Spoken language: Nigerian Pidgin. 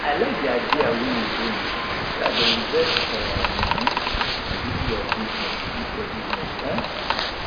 i like the idea wey you bring so i go invest um money into your business into your business um